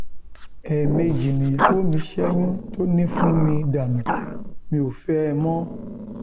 ẹẹmejì nìyàwó mi ṣẹyún tó ní fún mi dànù mi ò fẹ ẹ mọ